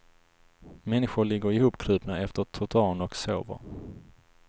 Människor ligger ihopkrupna efter trottoarerna och sover.